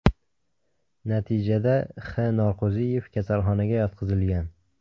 Natijada X.Norqo‘ziyev kaslaxonaga yotqizilgan.